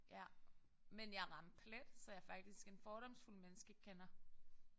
Ja men jeg ramte plet så jeg er faktisk en fordomsfuld menneskekender